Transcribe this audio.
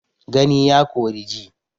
Gani ya kori ji.